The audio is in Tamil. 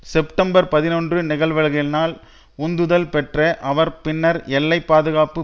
செப்டம்பர் பதினொன்று நிகழ்வுகளினால் உந்துதல் பெற்ற அவர் பின்னர் எல்லை பாதுகாப்பு